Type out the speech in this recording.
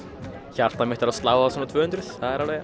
hjartað mitt er að slá á svona tvö hundruð